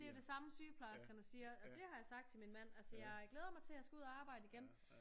Det er jo det samme sygeplejerskerne siger og det har jeg sagt til min mand altså jeg øh glæder mig til jeg skal ud og arbejde igen